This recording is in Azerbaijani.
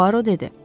Puaro dedi.